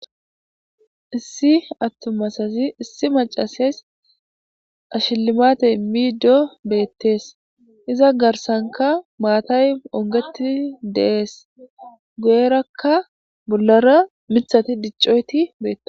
issi attumasazi issi macasays ashillimatey miido beettees. iza garsanka maatay ongeti dees.goyerakka bollara mithati diccoyti beettes.